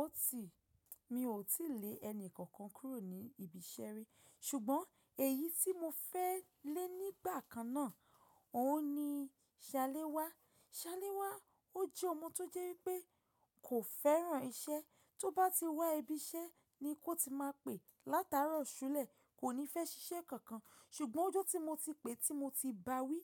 Ó ti, mi ò tí lè ẹni kankan kúrò ní ibi iṣẹ́ rí ṣùgbọ́n èyí tí mo fẹ́ lè nígbà kan náà, òun ni Ṣaléwá. Ṣaléwá ó jẹ́ ọmọ tó jẹ́ wípé kò fẹ́ràn iṣẹ́. Tó bá ti wá ibi iṣẹ́ ni kó ti máa pè látàárọ̀ ṣúlẹ̀, kò ní fẹ́ ṣiṣẹ́ kankan. Ṣùgbọ́n ọjọ́ tí mo ti pè tí mo ti bá wí,